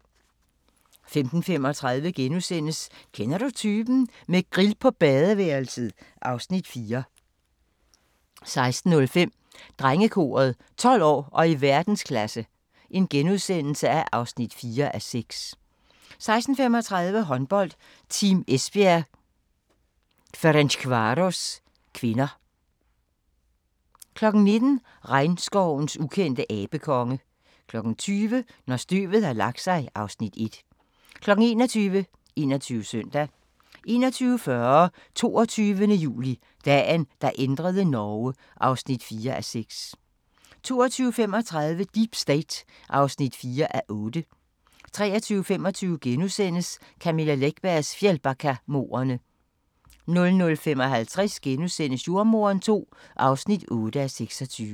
15:35: Kender du typen? – med grill på badeværelset (Afs. 4)* 16:05: Drengekoret – 12 år og i verdensklasse (4:6)* 16:35: Håndbold: Team Esbjerg-Ferencvaros (k) 19:00: Regnskovens ukendte abekonge 20:00: Når støvet har lagt sig (Afs. 1) 21:00: 21 Søndag 21:40: 22. juli – Dagen, der ændrede Norge (4:6) 22:35: Deep State (4:8) 23:25: Camilla Läckbergs Fjällbackamordene * 00:55: Jordemoderen II (8:26)*